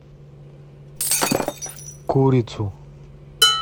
курицу